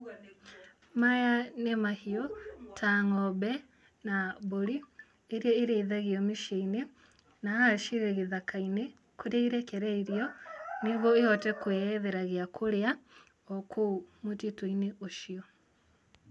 maya nĩ mahiũ, ta ng'ombe, na mbũri iria irĩithagio mĩciĩ-inĩ na haha cirĩ gĩthaka-inĩ kũrĩa irekereirio, nĩguo ihote kwĩethera gĩa kũrĩa o kũu mũtĩtũ-inĩ ũcio.